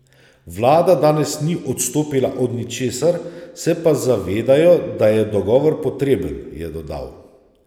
Vlada danes ni odstopila od ničesar, se pa zavedajo, da je dogovor potreben, je dodal.